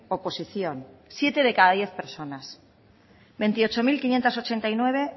oposición siete de cada diez personas veintiocho mil quinientos ochenta y nueve